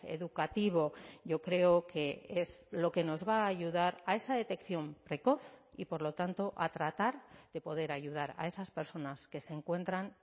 educativo yo creo que es lo que nos va a ayudar a esa detección precoz y por lo tanto a tratar de poder ayudar a esas personas que se encuentran